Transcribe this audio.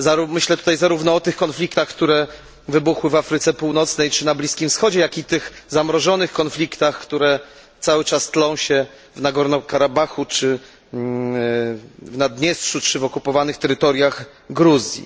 Myślę tu zarówno o tych konfliktach, które wybuchły w Afryce Północnej czy na Bliskim Wschodzie, jak i tych zamrożonych konfliktach, które cały czas tlą się w Górnym Karabachu, w Naddniestrzu lub na okupowanych terytoriach Gruzji.